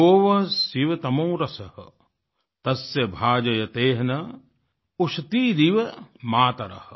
यो वः शिवतमो रसः तस्य भाजयतेह नः उषतीरिव मातरः